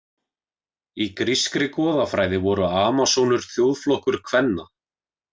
Í grískri goðafræði voru Amasónur þjóðflokkur kvenna.